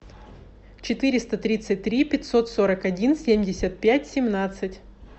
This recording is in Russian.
четыреста тридцать три пятьсот сорок один семьдесят пять семнадцать